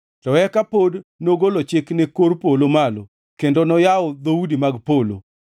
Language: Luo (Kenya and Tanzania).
To eka pod nogolo chik ne kor polo malo kendo noyawo dhoudi mag polo;